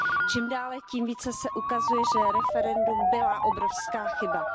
Čím dále tím více se ukazuje, že referendum byla obrovská chyba.